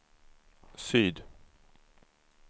syd